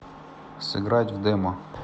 сыграть в демо